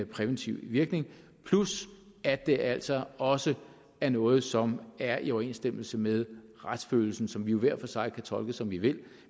præventiv virkning plus at det altså også er noget som er i overensstemmelse med retsfølelsen som vi jo hver for sig kan tolke som vi vil